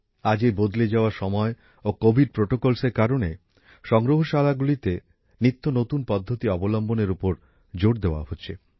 আজ এই বদলে যাওয়া সময় ও কোভিড প্রোটোকলের কারণে সংগ্রহশালাগুলিতে নিত্যনতুন পদ্ধতি অবলম্বনের উপর জোর দেওয়া হচ্ছে